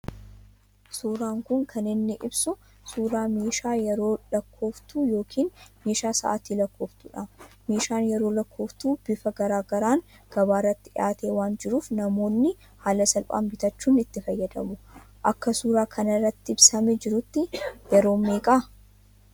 Suuraan kun kan inni ibsu suura meeshaa yeroo lakkooftuu yookiin meeshaa sa'atii lakkooftu dha. Meeshaan yeroo lakkoftu bifa garaagaraan gabaa irratti dhiyaatee waan jiruuf namoonni haala salphaan bitachuun itti fayyadamuu. Akka suuraa kanarratti ibsamee jirutti yeroon meeqaa ?